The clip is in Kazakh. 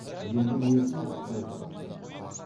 енді несін сөз қып кеп тұрсың